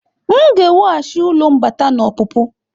M ga-ewughachi ụlọ mbata na ọpụpụ.